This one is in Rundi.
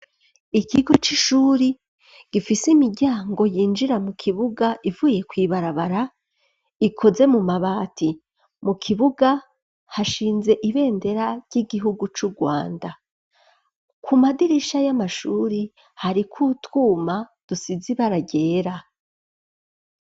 Ikigo c'ishuri, gifise imiryango yinjira mu kibuga ivuye kw'ibarabara ikoze mu mabati, mu kibuga hashinze ibendera ry'igihugu c'Urwanda, ku madirisha y'amashuri hariko utwuma dusize ibara ryera.